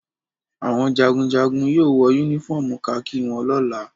Àwọn jagunjagun yóò wọ únífọ́ọ́mù kakí wọn lọ́la.